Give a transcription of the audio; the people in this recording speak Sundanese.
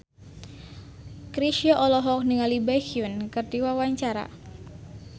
Chrisye olohok ningali Baekhyun keur diwawancara